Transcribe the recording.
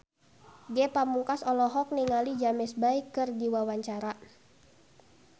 Ge Pamungkas olohok ningali James Bay keur diwawancara